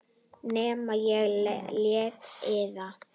Nema ég léti eyða.